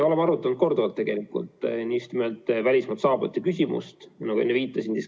Oleme korduvalt arutanud just nimelt välismaalt saabujate küsimust, nagu ma ka enne viitasin.